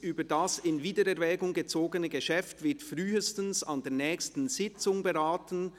«Über das in Wiedererwägung gezogene Geschäft wird frühestens an der nächsten Sitzung beraten.